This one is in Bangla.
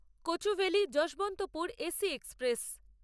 Kochuveli Yesvantpur AC express